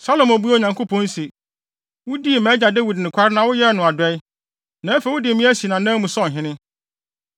Salomo buaa Onyankopɔn se, “Wudii mʼagya Dawid nokware na woyɛɛ no adɔe, na afei wode me asi nʼanan mu sɛ ɔhene.